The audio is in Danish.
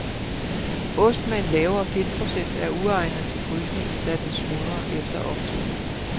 Ost med en lavere fedtprocent er uegnet til frysning, da den smuldrer efter optøning.